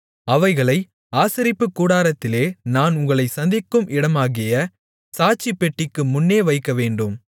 அவைகளை ஆசரிப்புக் கூடாரத்திலே நான் உங்களைச் சந்திக்கும் இடமாகிய சாட்சிப்பெட்டிக்கு முன்னே வைக்கவேண்டும்